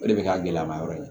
O de bɛ kɛ gɛlɛya ma yɔrɔ ye